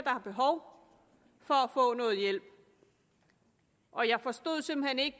har behov for at få noget hjælp og jeg forstod simpelt hen ikke